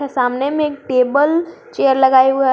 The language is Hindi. सामने में एक टेबल चेयर लगाए हुए है।